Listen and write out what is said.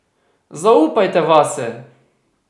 Zaupajte vase!